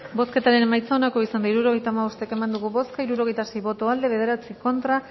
bozketaren emaitza onako izan da hirurogeita hamabost eman dugu bozka hirurogeita sei boto aldekoa nueve contra